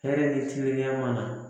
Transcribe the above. Hɛrɛ ni tilenya mana